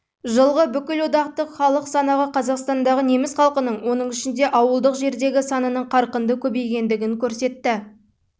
жылғы бүкілодақтық халық санағы қазақстандағы неміс халқының оның ішінде ауылдық жердегі санының қарқынды көбейгендігін көрсетті